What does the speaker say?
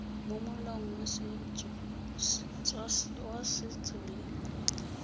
mo molaong wa setso le